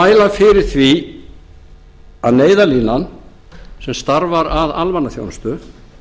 að mæla fyrir því að neyðarlínan sem starfar að almannaþjónustu